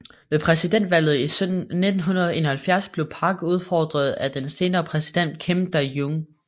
Ved præsidentvalget i 1971 blev Park udfordret af den senere præsident Kim Dae Jung